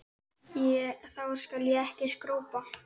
Þá skal ég ekki skrópa.